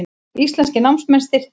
Íslenskir námsmenn styrktir